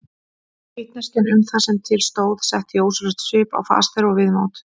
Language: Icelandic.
Vitneskjan um það sem til stóð setti ósjálfrátt svip á fas þeirra og viðmót.